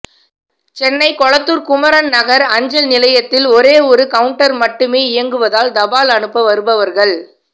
சென்னை கொளத்தூர் குமரன் நகர் அஞ்சல் நிலையத்தில் ஒரே ஒரு கவுன்ட்டர் மட்டுமே இயங்குவதால் தபால் அனுப்ப வருபவர்கள்